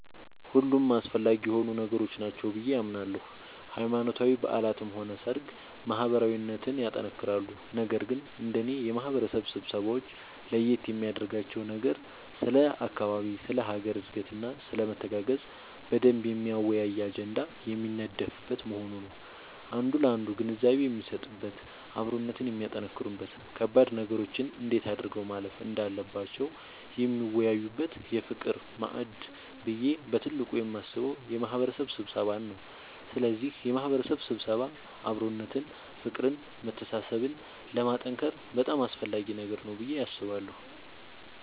ሁሉም አስፈላጊ የሆኑ ነገሮች ናቸው ብዬ አምናለሁ ሃይማኖታዊ በዓላትም ሆነ ሰርግ ማህበራዊነትን ያጠነክራሉ ነገር ግን እንደኔ የማህበረሰብ ስብሰባወች ለየት የሚያደርጋቸው ነገር ስለ አካባቢ ስለ ሀገር እድገትና ስለመተጋገዝ በደንብ የሚያወያይ አጀንዳ የሚነደፍበት መሆኑ ነዉ አንዱ ላንዱ ግንዛቤ የሚሰጥበት አብሮነትን የሚያጠነክሩበት ከባድ ነገሮችን እንዴት አድርገው ማለፍ እንዳለባቸው የሚወያዩበት የፍቅር ማዕድ ብዬ በትልቁ የማስበው የማህበረሰብ ስብሰባን ነዉ ስለዚህ የማህበረሰብ ስብሰባ አብሮነትን ፍቅርን መተሳሰብን ለማጠንከር በጣም አስፈላጊ ነገር ነዉ ብዬ አስባለሁ።